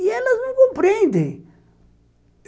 E elas não me compreendem.